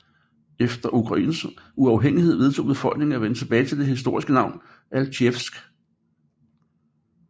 Efter Ukraines uafhængighed vedtog befolkningen at vende tilbage til det historiske navn Altjevsk